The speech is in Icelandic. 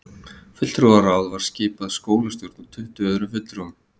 Fulltrúaráð var skipað skólastjórn og tuttugu öðrum fulltrúum